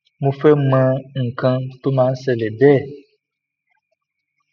mo fe mo nkan ti o ma n sele be